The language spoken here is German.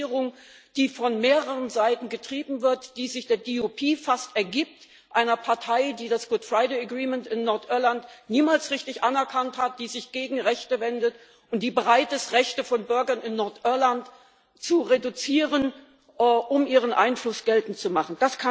Eine Regierung, die von mehreren Seiten getrieben wird, die sich der DUP fast ergibt einer Partei, die das Good Friday Agreement in Nordirland niemals richtig anerkannt hat, die sich gegen Rechte wendet und die bereit ist, Rechte von Bürgern in Nordirland zu reduzieren, um ihren Einfluss geltend zu machen.